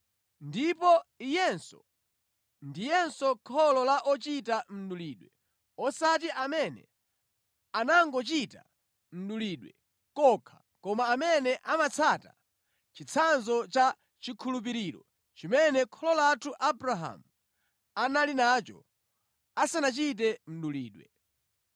Ndipo iyenso ndiyenso kholo la ochita mdulidwe osati amene anangochita mdulidwe kokha koma amene amatsata chitsanzo cha chikhulupiriro chimene kholo lathu Abrahamu anali nacho asanachite mdulidwe.